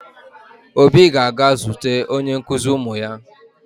Obi ga-aga zute onye nkụzi ụmụ ya